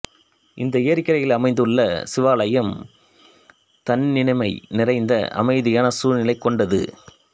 இந்த ஏரிக்கரையில் அமைந்துள்ள சிவாலயம் தன்னினிமை நிறைந்த அமைதியான சூழ்நிலை கொண்டது